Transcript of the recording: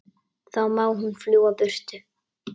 Þá má hún fljúga burtu.